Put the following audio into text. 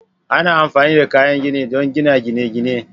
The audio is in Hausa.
Ana amfani da kayan gini don gina gine-gine